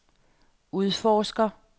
udforsker